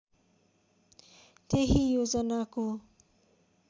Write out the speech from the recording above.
त्यही योजनाको